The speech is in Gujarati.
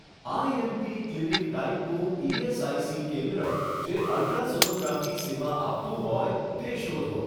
આઈએમપી ક્લિનિક ટાઈપનું ઇએસઆઇસી કેન્દ્ર જે અલ્ટ્રાસોનોગ્રાફી સેવા આપતું હોય તે શોધો.